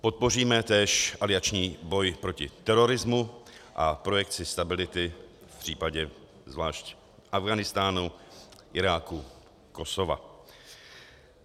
Podpoříme též alianční boj proti terorismu a projekci stability v případě zvlášť Afghánistánu, Iráku, Kosova.